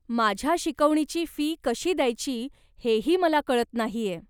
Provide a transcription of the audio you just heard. माझ्या शिकवणीची फी कशी द्यायची हेही मला कळत नाहीय.